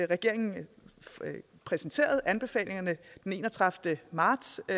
regeringen præsenterede anbefalingerne den enogtredivete marts og